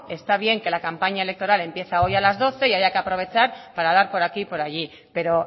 está bien que la campaña electoral empieza hoy a las doce y haya que aprovechar para dar por aquí y por allí pero